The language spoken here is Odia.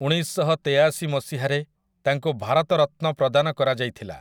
ଉଣେଇଶଶହତେୟାଶି ମସିହାରେ ତାଙ୍କୁ ଭାରତ ରତ୍ନ ପ୍ରଦାନ କରାଯାଇଥିଲା ।